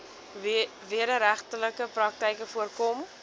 wederregtelike praktyke voorkom